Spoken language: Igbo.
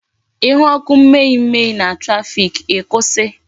Ihu ọkụ mme mme na traffic, ikwusi